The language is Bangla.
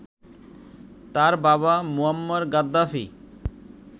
তার বাবা মুয়াম্মার গাদ্দাফি